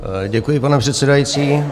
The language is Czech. Děkuji, pane předsedající.